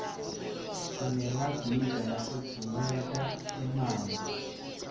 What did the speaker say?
sinemagiza lafutfumeta emanti